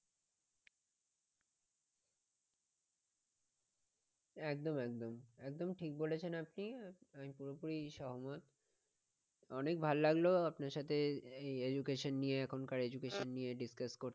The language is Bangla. একদম একদম একদম ঠিক বলেছেন আপনি আমি পুরোপুরি সহমত অনেক ভালো লাগলো আপনার সঙ্গে এই education নিয়ে এখনকার education নিয়ে discuss করতে।